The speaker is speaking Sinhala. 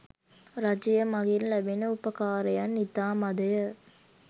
රජය මඟින් ලැබෙන උපකාරයන් ඉතා මඳය.